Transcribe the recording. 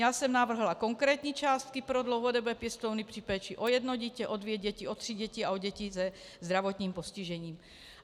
Já jsem navrhla konkrétní částky pro dlouhodobé pěstouny při péči o jedno dítě, o dvě děti, o tři děti a o děti se zdravotním postižením.